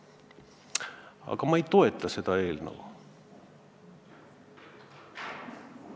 Aga ma ei toeta seda eelnõu.